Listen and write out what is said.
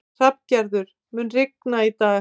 Hrafngerður, mun rigna í dag?